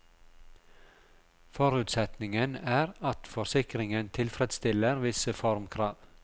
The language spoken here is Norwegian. Forutsetningen er at forsikringen tilfredsstiller visse formkrav.